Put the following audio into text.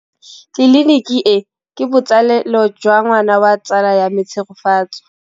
Tleliniki e, ke botsalêlô jwa ngwana wa tsala ya me Tshegofatso.